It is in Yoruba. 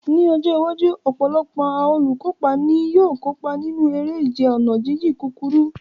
Ní ọjọ́ iwájú, ọ̀pọ̀lọpọ̀ àwọn olùkópa ni yóò kópa nínú eré ìje ọ̀nà jíjìn kúkúrú.